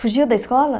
Fugiu da escola?